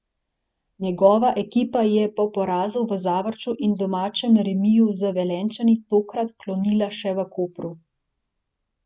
Njegova ekipa je po porazu v Zavrču in domačem remiju z Velenjčani tokrat klonila še v Kopru.